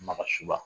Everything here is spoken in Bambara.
Maka suba